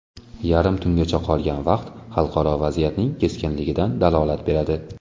Yarim tungacha qolgan vaqt xalqaro vaziyatning keskinligidan dalolat beradi.